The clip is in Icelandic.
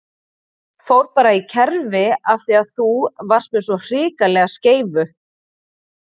Fór bara í kerfi af því að þú varst með svo hrikalega skeifu!